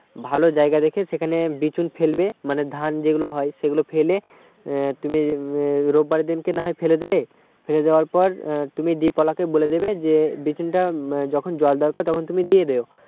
ভাল জায়গা দেখে সেখানে বিচুন ফেলবে মানে ধান যেগুলো হয় সেগুলো ফেলে তুমি রোববার দিন কে না ফেলে দিলে ফেলে দেওয়ার পর তুমি deep ওলাকে বলে দেবে যে বিচুনটা যখন জল দরকার তখন তুমি দিয়ে দিও